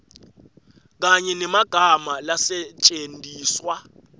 kanye nemagama lasetjentiswa